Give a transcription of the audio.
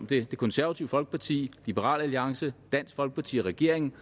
det konservative folkeparti liberal alliance dansk folkeparti og regeringen